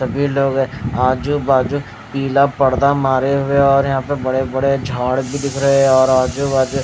सभी लोग है आजू बाजू पीला पर्दा मारे हुए और यहां पे बड़े बड़े झाड़ भी दिख रहे हैं और आजू बाजू--